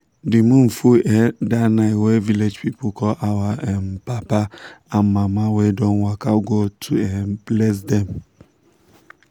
the moon full um that night wey village people call our um papa and mama wey don waka go to um bless them.